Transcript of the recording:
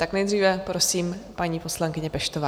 Tak nejdříve prosím paní poslankyni Peštovou.